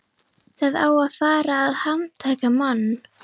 Það á að fara að handtaka mann.